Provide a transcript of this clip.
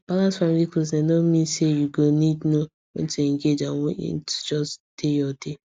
to balance family closeness mean say you go need know when to engage and when to just dey your dey